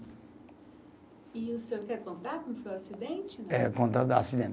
E o senhor quer contar como foi o acidente? É, contar da acidente